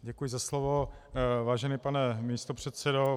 Děkuji za slovo, vážený pane místopředsedo.